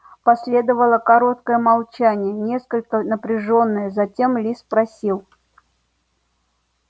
последовало короткое молчание несколько напряжённое затем ли спросил